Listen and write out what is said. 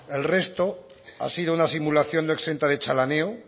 el resto ha sido una simulación no exenta de chalaneo